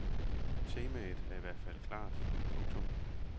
Temaet er i hvert fald klart. punktum